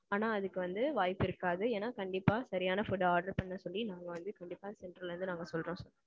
ஆனான் அதுக்கு வந்து வாய்ப்பு இருக்காது. ஏன்னா கண்டிப்பா சரியான food order பண்ண சொல்லி நாங்க வந்து கண்டிப்பா center ல இருந்து நாங்க சொல்றோம்.